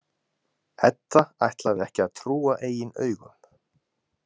Edda ætlaði ekki að trúa eigin augum.